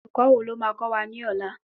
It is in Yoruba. Olùkó wo lo máa kọ́ wa ní ọlá?